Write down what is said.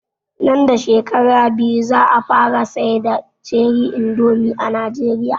Nan da shekara biyu za a fara siyar da ( ceri indomi) a Nijeriya